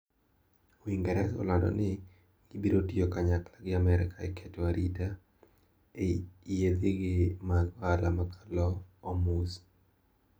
Uingereza olando ni gibirotiyo kanyakla gi Amerka eketo arita ne yiedhigi mag ohala makalo Hormuz.